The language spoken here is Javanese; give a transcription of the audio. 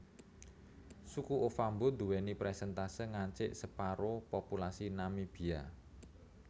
Suku Ovambo duwèni persèntase ngancik separo populasi Namibia